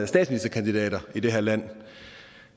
statsministerkandidater i det her land